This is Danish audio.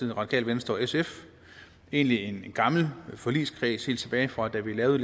radikale venstre og sf egentlig en gammel forligskreds helt tilbage fra da vi lavede